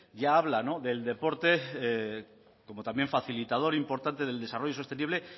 ya habla del deporte como también facilitador importante del desarrollo sostenible